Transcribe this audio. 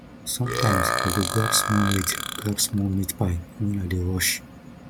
sometimes i go grab small meat grab small meat pie when i dey rush